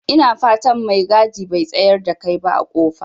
Ina fatan mai gadi bai tsayar da kai ba a kofa?